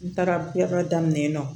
N taara yɔrɔ daminɛ yen nɔ